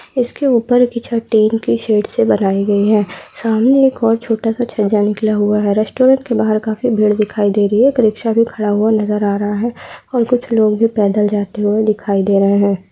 इसके ऊपर की छत टीन की शेड से बनाई गयी है सामने एक और छोटा सा छज्जा निकला हुआ है रेस्टोरेंट के बाहर काफी भीड़ दिखाई दे रही है एक रिक्शा भी खड़ा हुआ नज़र आ रहा है। और कुछ लोग भी पैदल जाते हुए दिखाई दे रहे हैं |